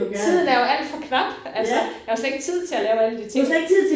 Tiden er jo alt for knap altså. Jeg har jo slet ikke tid til at lave alle de ting